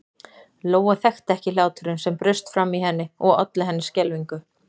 Lóa þekkti ekki hláturinn sem braust fram í henni og olli henni skelfingu.